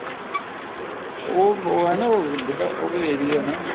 ਉਹ ਹੈ ਨਾ ਉਹ ਜਿਹੜਾ ਉਹ area ਨਾ